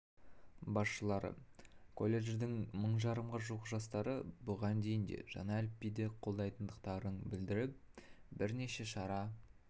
басшылары колледждің мың жарымға жуық жастары бұған дейін де жаңа әліпбиді қолдайтындықтарын білдіріп бірнеше шара